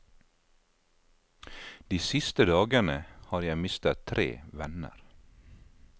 De siste dagene har jeg mistet tre venner.